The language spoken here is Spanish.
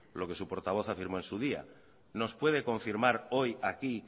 lo que su portavoz afirmó en su día nos puede confirmar hoy aquí